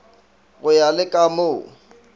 go ya le ka moo